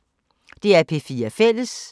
DR P4 Fælles